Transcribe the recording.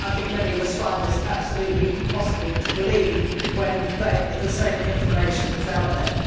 Many of us find this absolutely impossible to believe when the same information is out there.